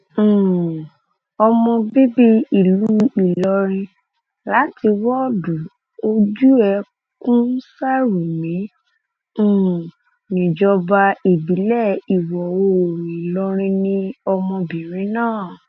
lọjọ tá a bá um fọwọ́ kan fúlàní níṣe la ó dojú ìjà kọ ọ um